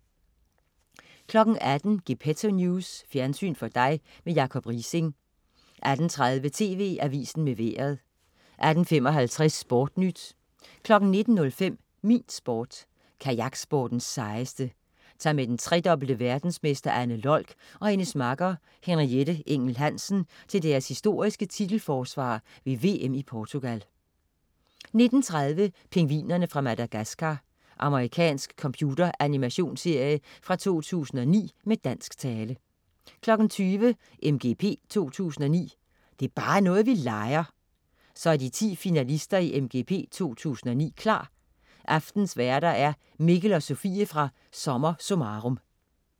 18.00 Gepetto News. Fjernsyn for dig med Jacob Riising 18.30 TV Avisen med Vejret 18.55 SportNyt 19.05 Min Sport: Kajaksportens sejeste. Tag med den tredobbelte verdensmester Anne Lolk og hendes makker Henriette Engel Hansen til deres historiske titelforsvar ved VM i Portugal 19.30 Pingvinerne fra Madagascar. Amerikansk computeranimationsserie fra 2009 med dansk tale 20.00 MGP 2009. Det er bare noget, vi leger! Så er de 10 finalister i MGP 2009 klar! Aftenens værter er Mikkel og Sofie fra "SommerSummarum"